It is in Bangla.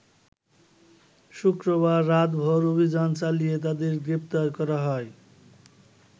শুক্রবার রাতভর অভিযান চালিয়ে তাদের গ্রেপ্তার করা হয়।